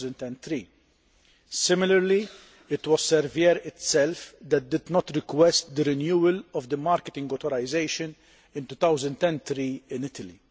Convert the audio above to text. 2003. Similarly, it was Servier itself that did not request the renewal of the marketing authorisation in 2003 in Italy.